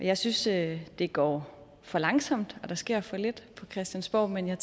jeg synes at det går for langsomt og at der sker for lidt på christiansborg men jeg